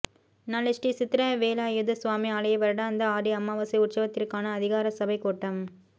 நாளை ஸ்ரீ சித்திரவேலாயுத சுவாமி ஆலய வருடாந்த ஆடி அமாவாசை உற்சவத்திற்கான அதிகாரசபைக் கூட்டம்